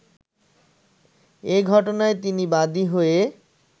এ ঘটনায় তিনি বাদী হয়ে